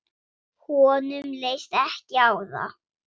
Honum leist ekki á það.